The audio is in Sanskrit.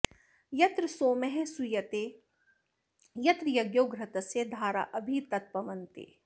यत्र॒ सोमः॑ सू॒यते॒ यत्र॑ य॒ज्ञो घृ॒तस्य॒ धारा॑ अ॒भि तत्प॑वन्ते